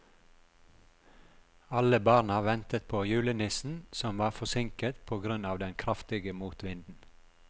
Alle barna ventet på julenissen, som var forsinket på grunn av den kraftige motvinden.